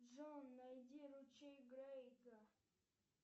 джой найди ручей крейга